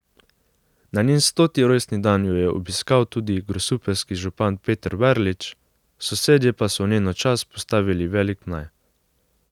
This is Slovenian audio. Na njen stoti rojstni dan jo je obiskal tudi grosupeljski župan Peter Verlič, sosedje pa so v njeno čast postavili velik mlaj.